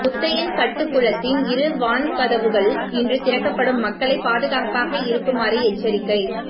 முத்தையன்கட்டுக்குளத்தின் இரு வான்கதவுகள் இன்று திறக்கப்படும் மக்களை பாதுகாப்பாக இருக்குமாறு எச்சரிக்கை